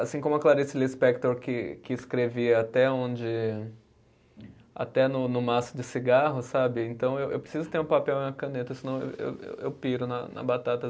Assim como a Clarice Lispector que que escrevia até onde, até no no maço de cigarro, sabe, então eu eu preciso ter um papel e uma caneta, senão eu eu piro na na batata.